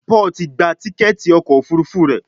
Paul tí gbà Tíkẹ́ẹ̀tì ọkọ̀ òfurufú rẹ.